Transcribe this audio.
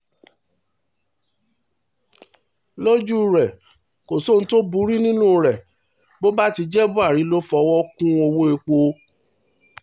lójú rẹ̀ kò sí ohun tó burú nínú rẹ̀ bó bá ti jẹ́ buhari ló fọwọ́ kún owó-èpò